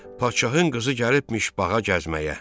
Padşahın qızı gəlibmiş bağa gəzməyə.